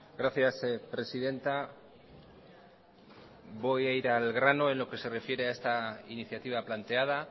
gracias presidenta voy a ir al grano en lo que se refiere a esta iniciativa planteada